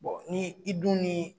Bɔn ni i dun ni